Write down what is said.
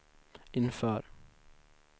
inför